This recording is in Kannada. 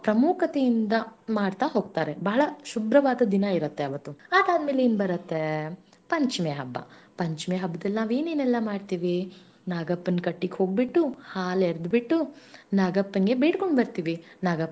ಪ್ರಮುಖತೆಯಿಂದ ಮಾಡ್ತಾ ಹೋಗ್ತಾರೆ ಬಾಳ ಶುಭ್ರವಾದ ದಿನಾ ಇರತ್ತೆ ಅವತ್ತು ಅದಾದ ಮೇಲೆಯೇನ ಬರತ್ತೆ ಪಂಚಮಿ ಹಬ್ಬಾ, ಪಂಚಮಿ ಹಬ್ಬದಲ್ಲಿ ನಾವೆನ್ನೆಲ್ಲಾ ಮಾಡ್ತೀವಿ ನಾಗಪ್ಪನ ಕಟ್ಟಿಕೋಗ ಬಿಟ್ಟು ಹಾಲೆರೆದು ಬಿಟ್ಟು ನಾಗಪ್ಪನ ಬೇಡಿಕೊಂಡು ಬರ್ತೀವಿ ನಾಗಪ್ಪ.